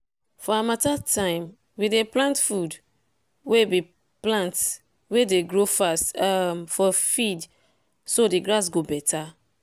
for harmattan time we dey plant food wey be plant wey dey grow fast um for field so the grass go better.